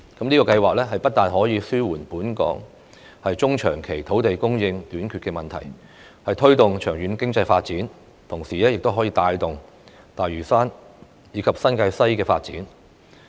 這個計劃不但可以紓緩本港中長期土地供應短缺的問題、推動長遠經濟發展，同時亦可帶動大嶼山及新界西的發展。